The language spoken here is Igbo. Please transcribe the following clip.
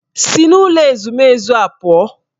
Si n'ụlọ ezumezu a pụọ!